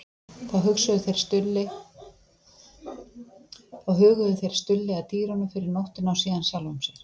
Þá huguðu þeir Stulli að dýrunum fyrir nóttina og síðan sjálfum sér.